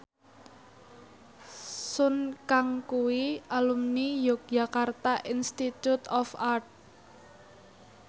Sun Kang kuwi alumni Yogyakarta Institute of Art